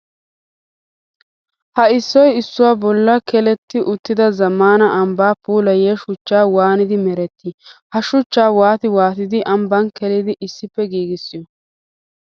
Ha issoy issuwa bolla keelletti uttidda zamaana ambba puulayiya shuchchay waaniddi meretti? Ha suchcha waatti waattiddi ambban keelliddi issippe giigissiyo?